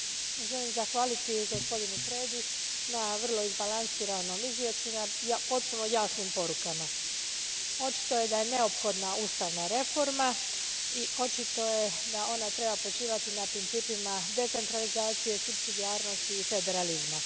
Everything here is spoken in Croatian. Gospođo predsjednice, želim zahvaliti gospodinu Predi na vrlo izbalansiranom izvješću i na potpuno jasnim porukama. Očito je da je neophodna ustavna reforma i očito je da ona treba počivati na principima decentralizacije, supsidijarnosti i federalizma.